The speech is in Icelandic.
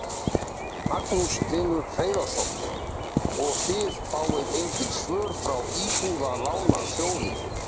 Magnús Hlynur Hreiðarsson: Og þið fáið engin svör frá Íbúðalánasjóði?